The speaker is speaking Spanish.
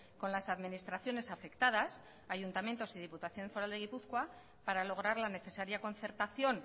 con las administraciones afectadas ayuntamientos y diputación foral de gipuzkoa para lograr la necesaria concertación